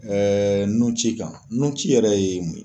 nunci kan nunci yɛrɛ ye mun ye?